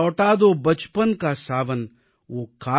मगर मुझको लौटा दो बचपन का सावन